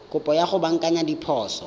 kopo ya go baakanya diphoso